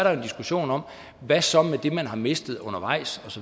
er en diskussion om hvad så med det man har mistet undervejs